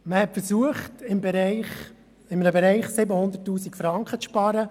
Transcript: Es wurde versucht, in einem Bereich 700 000 Franken einzusparen.